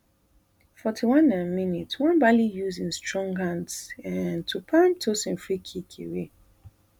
forty-one um mins nwabali use e strong hands um to palm tosin freekick away